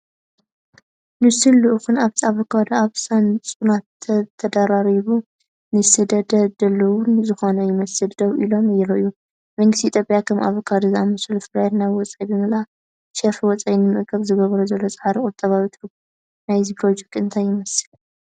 ንሱን ልኡኹን ኣብቲ ኣቮካዶ ኣብ ሳጹናት ተደራሪቡ፡ ንሰደድ ድሉው ዝኾነ ይመስል፡ ደው ኢሎም ይረኣዩ። መንግስቲ ኢትዮጵያ ከም ኣቮካዶ ዝኣመሰሉ ፍርያት ናብ ወጻኢ ብምልኣኽ ሸርፊ ወጻኢ ንምእካብ ዝገብሮ ዘሎ ጻዕሪ ቁጠባዊ ትርጉም ናይዚ ፕሮጀክት እንታይ ይመስል?